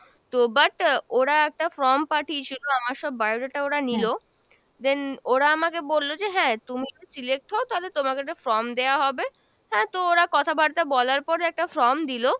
তো but ah ওরা একটা form পাঠিয়েছিল আমার সব bio data ওরা নিলো, then ওরা আমাকে বললো যে হ্যাঁ তুমি যদি select হও তালে তোমাকে একটা form দেওয়া হবে, হ্যাঁ তো ওরা কথাবার্তা বলার পর একটা form দিলো,